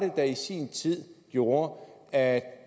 der i sin tid gjorde at